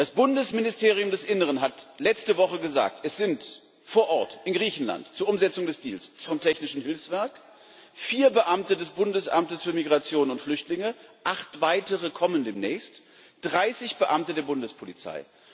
Das Bundesministerium des Innern hat letzte Woche gesagt Es sind vor Ort in Griechenland zur Umsetzung des Deals zwei oder drei Leute vom Technischen Hilfswerk, vier Beamte des Bundesamtes für Migration und Flüchtlinge, acht weitere kommen demnächst, dreißig Beamte der Bundespolizei.